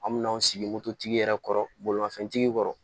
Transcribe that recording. An mina an sigi mototigi yɛrɛ kɔrɔ bolimafɛntigi kɔrɔ